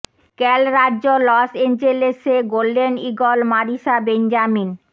ক্যাল রাজ্য Los Angeles এ golden eagle Marisa Benjamin